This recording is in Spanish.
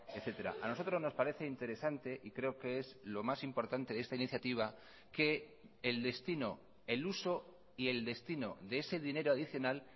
etcétera a nosotros nos parece interesante y creo que es lo más importante de esta iniciativa que el destino el uso y el destino de ese dinero adicional